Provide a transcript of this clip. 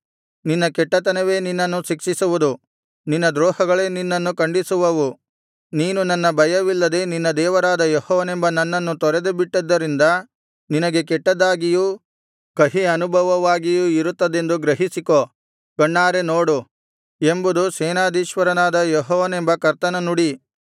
ನಿನ್ನ ಕೆಟ್ಟತನವೇ ನಿನ್ನನ್ನು ಶಿಕ್ಷಿಸುವುದು ನಿನ್ನ ದ್ರೋಹಗಳೇ ನಿನ್ನನ್ನು ಖಂಡಿಸುವವು ನೀನು ನನ್ನ ಭಯವಿಲ್ಲದೆ ನಿನ್ನ ದೇವರಾದ ಯೆಹೋವನೆಂಬ ನನ್ನನ್ನು ತೊರೆದುಬಿಟ್ಟಿದ್ದರಿಂದ ನಿನಗೆ ಕೆಟ್ಟದ್ದಾಗಿಯೂ ಕಹಿ ಅನುಭವವಾಗಿಯೂ ಇರುತ್ತದೆಂದು ಗ್ರಹಿಸಿಕೋ ಕಣ್ಣಾರೆ ನೋಡು ಎಂಬುದು ಸೇನಾಧೀಶ್ವರನಾದ ಯೆಹೋವನೆಂಬ ಕರ್ತನ ನುಡಿ